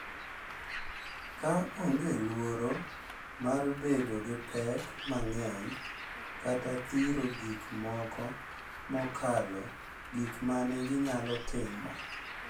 Ka onge luoro mar bedo gi pek mang’eny kata dhiro gik moko mokalo gik ma ne ginyalo timo.